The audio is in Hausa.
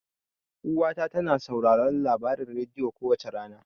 Uwa ta tana sauraron labarin rediyo kowace rana.